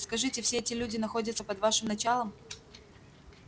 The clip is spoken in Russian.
скажите все эти люди находятся под вашим началом